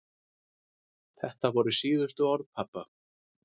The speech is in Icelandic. Þetta voru síðustu orð pabba.